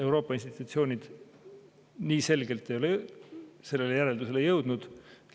Euroopa institutsioonid nii selgelt ei ole sellele järeldusele jõudnud.